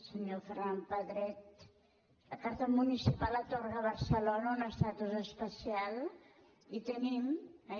senyor ferran pedret la carta municipal atorga a barcelona un estatus especial i tenim eh